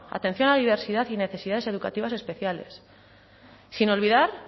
atención a la diversidad y necesidades educativas especiales sin olvidar